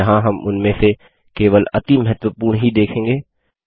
यहाँ हम उनमें से केवल अति महत्वपूर्ण ही देखेंगे